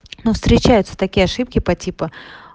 но встречаются такие ошибки патипа